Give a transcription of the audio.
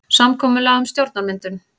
Samkomulag um stjórnarmyndun